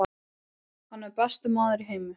Hann er besti maður í heimi.